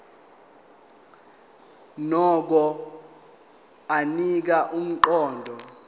nokho anika umqondo